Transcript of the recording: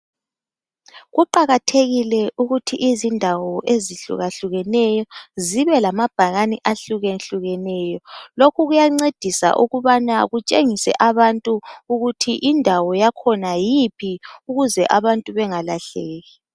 Kuqakathekile ukuthi izindawo ezihlukahlukeneyo zibe lamabhakane ahlukehlukeneyo. Lokhu kuyancedisa ukubana kutshengise abantu ukuthi indawo yakhona yiphi ukuze abantu bengalahleki.